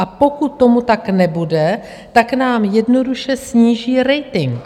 A pokud tomu tak nebude, tak nám jednoduše sníží rating.